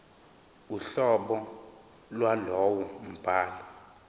uhlobo lwalowo mbhalo